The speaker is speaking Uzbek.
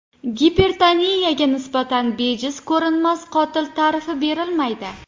Gipertoniyaga nisbatan bejiz ko‘rinmas qotil ta’rifi berilmaydi.